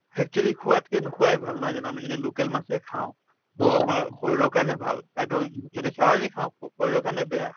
actually খোৱাতকে নোখোৱায়ে ভাল নহয় জানো আমি যদি local মাছে খাওঁ to আমাৰ শৰীৰ কাৰণে ভাল যদি চালানি খাওঁ শৰীৰ কাৰণে বেয়া